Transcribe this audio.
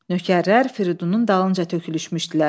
Nökərlər Fridunun dalınca tökülüşmüşdülər.